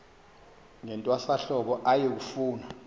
ngentwasahlobo aye kufuna